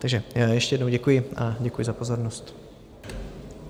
Takže ještě jednou děkuji a děkuji za pozornost.